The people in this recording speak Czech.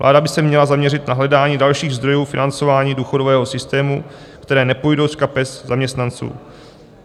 Vláda by se měla zaměřit na hledání dalších zdrojů financování důchodového systému, které nepůjdou z kapes zaměstnanců.